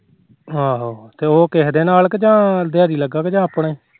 ਆਹੋ ਤੇ ਉਹ ਕਿਸੇ ਦੇ ਨਾਲ ਜਾ ਦਿਹਾੜੀ ਲੱਗਾ ਕ ਆਪਣੇ